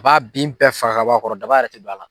A b'a bin bɛɛ faga ka bɔ a kɔrɔ daba yɛrɛ tɛ don a la.